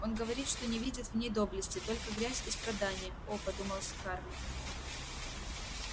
он говорит что не видит в ней доблести только грязь и страдания о подумала скарлетт